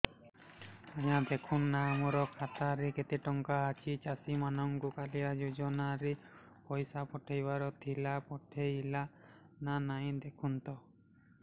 ଆଜ୍ଞା ଦେଖୁନ ନା ମୋର ଖାତାରେ କେତେ ଟଙ୍କା ଅଛି ଚାଷୀ ମାନଙ୍କୁ କାଳିଆ ଯୁଜୁନା ରେ ପଇସା ପଠେଇବାର ଥିଲା ପଠେଇଲା ନା ନାଇଁ ଦେଖୁନ ତ